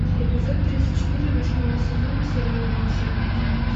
эпизод тридцать четыре восьмого сезона сериала волшебники